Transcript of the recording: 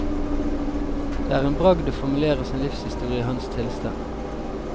Det er en bragd å formulere sin livshistorie i hans tilstand.